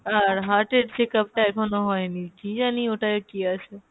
আর heart এর check up টা এখনও হয়নি, কী জানি ওটায় কী আছে?